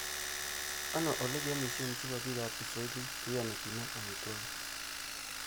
ano olegiamishen chebo biikap kipswahilik cheiyoni kenem amitwogik